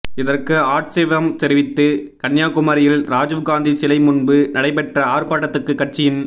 இதற்கு ஆட்சேபம் தெரிவித்து கன்னியாகுமரியில் ராஜீவ்காந்தி சிலை முன்பு நடைபெற்ற ஆா்ப்பாட்டத்துக்கு கட்சியின்